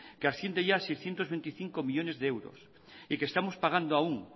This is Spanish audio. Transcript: que asciende ya a seiscientos veinticinco millónes de euros y que estamos pagando aún